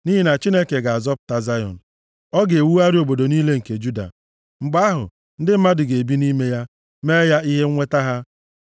Nʼihi na Chineke ga-azọpụta Zayọn; ọ ga-ewugharị obodo niile nke Juda. Mgbe ahụ, ndị mmadụ ga-ebi nʼime ya, mee ya ihe nweta ha.